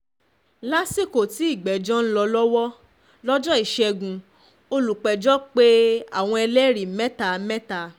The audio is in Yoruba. lásìkò tí ìgbẹ́jọ́ ń lọ lọ́wọ́ lọ́jọ́ ìṣẹ́gun olùpẹ̀jọ́ pé àwọn ẹlẹ́rìí mẹ́ta mẹ́ta